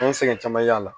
An ye sɛgɛn caman y'a la